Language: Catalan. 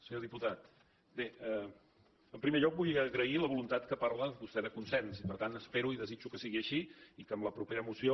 senyor diputat bé en primer lloc vull agrair la voluntat que parla vostè de consens per tant espero i desitjo que sigui així i que en la propera moció